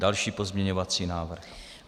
Další pozměňovací návrh.